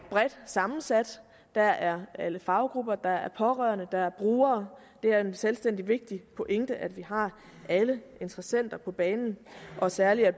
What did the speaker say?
bredt sammensat der er alle faggrupper der er pårørende der er brugere det er en selvstændig vigtig pointe at vi har alle interessenter på banen og særlig at